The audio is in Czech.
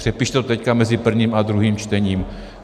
Přepište to teď mezi prvním a druhým čtením.